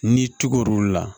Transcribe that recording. N'i tugul'olu la